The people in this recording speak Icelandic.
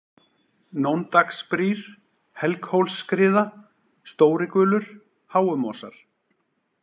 Nóndrangsbrýr, Helghólsskriða, Stóri-Gulur, Háumosar